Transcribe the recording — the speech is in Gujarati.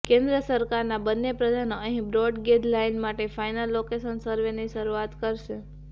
કેન્દ્ર સરકારના બંને પ્રધાનો અહીં બ્રોડ ગેજ લાઇન માટે ફાઇનલ લોકેશન સર્વેની શરૂઆત કરશે